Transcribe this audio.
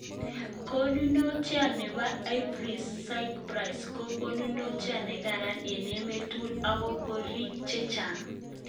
Konunotiat nepo Emporis Skyscraper ko konunotiat ne karan eng emet tugul ogot korik che acheng